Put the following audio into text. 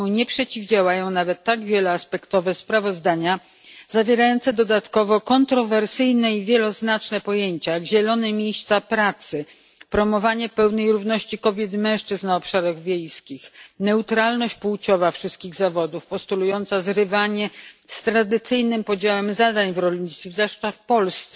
Nie przeciwdziałają temu nawet tak wieloaspektowe sprawozdania, które poza tym zawierają kontrowersyjne i wieloznaczne pojęcia, jak zielone miejsca pracy, promowanie pełnej równości kobiet i mężczyzn na obszarach wiejskich, neutralność płciowa wszystkich zawodów, postulująca zrywanie z tradycyjnym podziałem zadań w rolnictwie, zwłaszcza w Polsce,